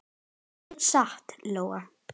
Ekki satt, Lóa?